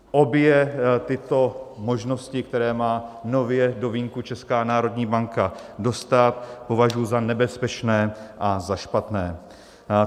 Obě tyto možnosti, které má nově do vínku Česká národní banka dostat, považuji za nebezpečné a za špatné.